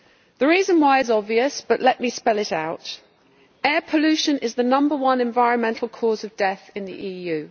The reason why is obvious, but let me spell it out air pollution is the number one environmental cause of death in the EU.